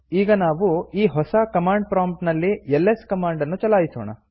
ಈಗ ನಾವು ಈ ಹೊಸ ಕಮಾಂಡ್ ಪ್ರಾಂಪ್ಟ್ ನಲ್ಲಿ ಎಲ್ಎಸ್ ಕಮಾಂಡ್ ನ್ನು ಚಲಾಯಿಸೋಣ